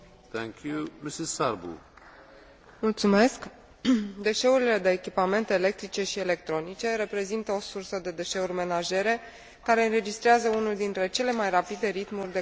Deșeurile de echipamente electrice și electronice reprezintă o sursă de deșeuri menajere care înregistrează unul dintre cele mai rapide ritmuri de creștere, fiind în același timp una din cele mai periculoase.